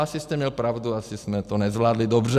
Asi jste měl pravdu, asi jsme to nezvládli dobře.